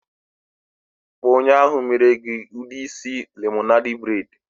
Kpo onye ahu mere gi udi isi lemonade braid